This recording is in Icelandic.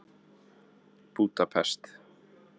Búdapest